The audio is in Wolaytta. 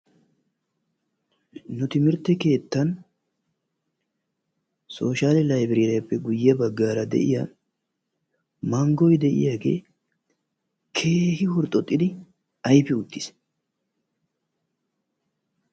nu timirte keettan sooshiyal laybireeriyappe guye bagaara de'iya manggoy de'iyagge keehin mulqaqqidi ayffi uttiis.